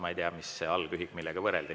Ma ei tea, mis see algühik on, millega võrreldi.